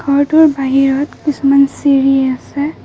ঘৰটোৰ বাহিৰত কিছুমান চিৰি আছে।